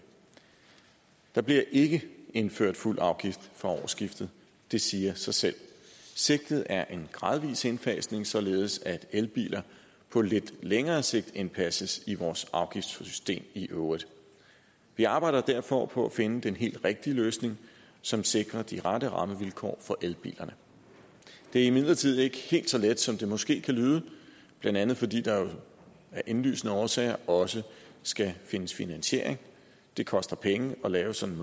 der bliver ikke indført fuld afgift fra årsskiftet det siger sig selv sigtet er en gradvis indfasning således at elbiler på lidt længere sigt indpasses i vores afgiftssystem i øvrigt vi arbejder derfor på at finde den helt rigtige løsning som sikrer de rette rammevilkår for elbilerne det er imidlertid ikke helt så let som det måske kan lyde blandt andet fordi der jo af indlysende årsager også skal findes finansiering det koster penge at lave sådan